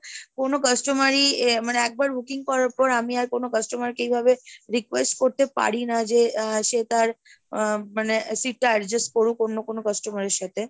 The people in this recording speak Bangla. কোনো customer ই মানে একবার booking করার পর, আমি আর কোনো customer কে এইভাবে request করতে পারি না, যে সে তার আহ মানে seat টা adjust করুক অন্য কোনো customer এর সাথে।